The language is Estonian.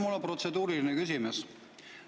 Mul on protseduuriline küsimus.